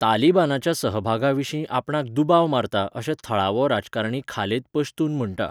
तालिबानाच्या सहभागाविशीं आपणाक दुबाव मारता अशें थळावो राजकारणी खालेद पश्तून म्हणटा.